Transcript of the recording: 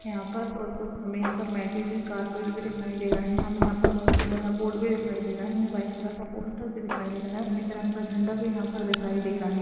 यहाॅं पर और कुछ हमें हुई कार्पेट भी दिखाई दे रहा है हमें यहाॅं पर बहुत बड़ा बोर्ड भी दिखाई दे रहा है हमें यहाॅं व्हाइट कलर का पोस्टर भी दिखाई दे रहा है हमें तिरंगा झंडा भी यहॉं पर दिखाई दे रहा है।